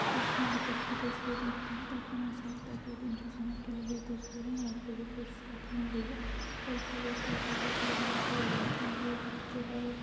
Fish market की तस्वीर लगती है देखने में ऐसा लगता है को यह दिन का समय की लि गई तस्वीर है यहाँ पर जो फिश कटिंग हो रही है और उसका वेट करते हुए कुछ लोग बैठे हैं। ये जो है--